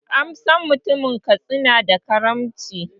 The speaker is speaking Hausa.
An san mutanen Katsina da kaamci